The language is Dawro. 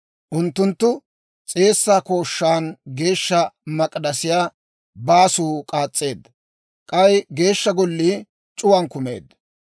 Unttunttu s'eessaa kooshshaan Geeshsha Golliyaa baasuu k'aas's'eedda; k'ay Geeshsha Gollii c'uwaan kumeedda.